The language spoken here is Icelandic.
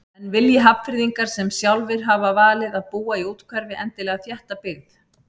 En vilji Hafnfirðingar sem sjálfir hafa valið að búa í úthverfi endilega þétta byggð?